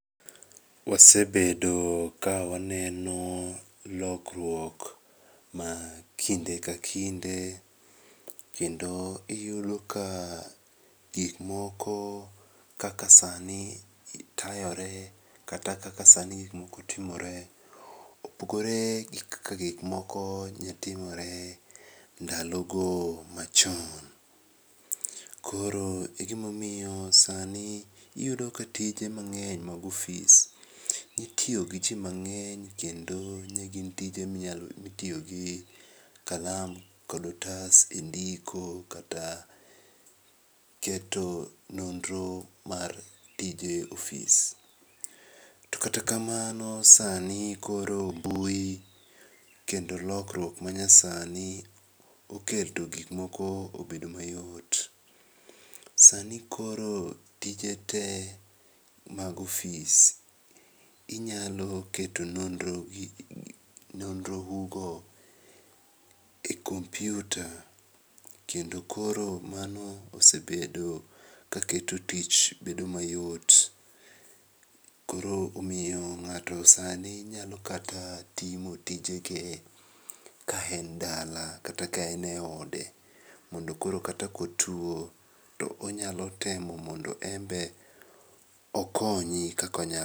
Wasebedo ka waneno lokruok ma kinde ka kinde kendo iyudo ka gik moko kaka sani tayore kata kaka sani gik moko timore opogore gi kaka gik moko nyo timore ndalogo machon. Koro e gima omiyo sani iyudo ka tije mang'eny mag ofis, itiyo gi jii mang'eny kendo ne gin tije mitiyo gi kalam kod otas e ndiko kata keto nonro mar tije ofis. To kata kamano, sani koro mbui kendo lokruok manyasani oketo gik moko obedo mayot. Sani koro tije tee mag ofis. Ginyalo keto nonrougo e computer kendo koro mano osebedo kaketo tich bedo mayot .Koro omiyo ng'ato sani nyalo kata timo tijegie ka en dala kata ka en e ode mondo koro kata ka otuo to onyalo temo mondo enbe okonyi kaka onyalo.